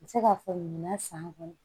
N bɛ se k'a fɔ ɲina san kɔnɔ